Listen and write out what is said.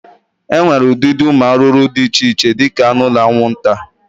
E nwere ụdịdị ụmụ arụrụ di iche iche di ka aṅụ na aṅwụnta.